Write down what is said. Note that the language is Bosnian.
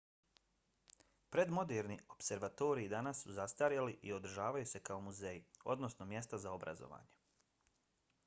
predmoderni opservatoriji danas su zastarjeli i održavaju se kao muzeji odnosno mjesta za obrazovanje